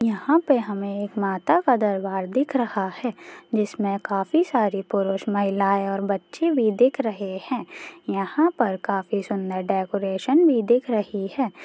यहाँ पे हमें एक माता का दरबार दिख रहा हैं जिसमे काफी सारे पुरुष महिलाये और बच्चे भी दिख रहे हैं यहाँ पर काफी सुन्दर डेकोरेशन भी दिख रही है।